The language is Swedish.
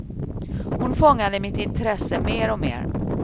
Hon fångade mitt intresse mer och mer.